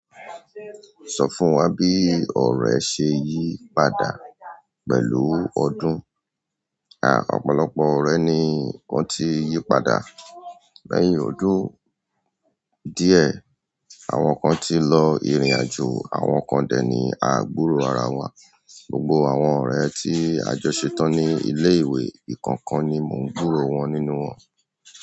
Sọ fún wa bí ọ̀rẹ́ ṣe yí padà pẹ̀lú ọdún. À, ọ̀pọ̀lọpọ̀ ọ̀rẹ́ ni wón ti yí padà lẹ́yìn ọdún díẹ̀. Àwọn kan ti lọ ìrìnàjò, àwọn kan dẹ̀ ni à gbúrò ara wa. Gbogbo àwọn ọ̀rẹ́ tí a jọ ṣetán ní ilé ìwé ìkankan ni mò ń gbúrò wọ́n nínú wọ́n.